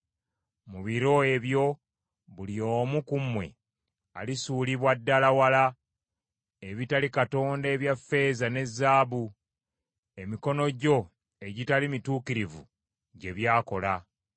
Mu biro ebyo buli omu ku mmwe alisuulira ddala wala ebitali Katonda ebya ffeeza ne zaabu, emikono gyo egitali mituukirivu gye byakola.